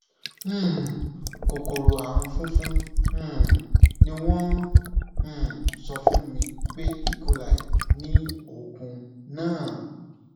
um kòkòrò àrùn fúnfun um ni wọn um sọ fún mi pé ecoli ni oògùn náà